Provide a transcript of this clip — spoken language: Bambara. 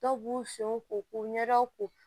Dɔw b'u senw ko k'u ɲɛdaw ko